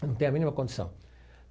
Não tem a mínima condição.